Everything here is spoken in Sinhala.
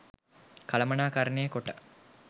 කළමනාකරණය කොට